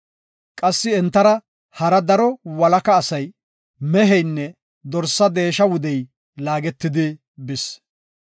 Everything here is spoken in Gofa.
Qassi entara hara daro walaka asay, meheynne dorsa deesha wudey laagetidi bis.